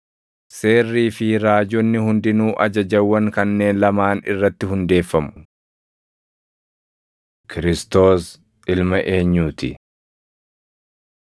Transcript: Seerrii fi Raajonni hundinuu ajajawwan kanneen lamaan irratti hundeeffamu.” Kiristoos Ilma Eenyuu ti? 22:41‑46 kwf – Mar 12:35‑37; Luq 20:41‑44